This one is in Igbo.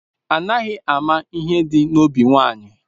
Anaghị ama ihe dị n'obi nwaanyị